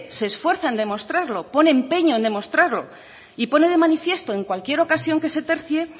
se esfuerza en demostrarlo pone empeño en demostrarlo y pone de manifiesto en cualquier ocasión que se tercie